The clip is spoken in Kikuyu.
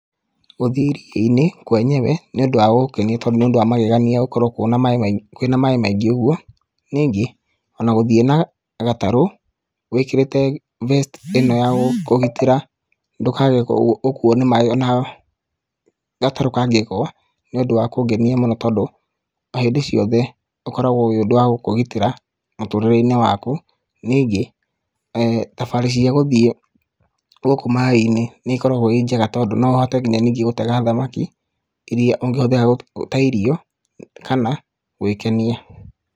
Gũthiĩ iria-inĩ, kwenyewe, nĩ ũndũ wa kũngenia tondũ nĩ ũndũ wa magegenia gũkorwo kwĩna maĩ maingĩ ũguo, ningĩ, ona gũthiĩ na gatarũ, wĩkĩrĩte vest ĩno ya gũkũgitĩra ndũkae gũkuwo nĩ maĩ ona gatarũ kangĩgũa nĩũndũ wa kũngenia mũno, tondũ hĩndĩ ciothe ũkoragwo ũrĩ ũndũ wa gũkũgitĩra mũtũrĩre-inĩ waku, ningĩ, thabarĩ cia gũthiĩ gũkũ maĩ-inĩ, nĩiokoragwo i njega tondũ, no ũhote ningĩ gũtega thamaki iria ũngĩhũthĩra ta irio kana gwĩkenia.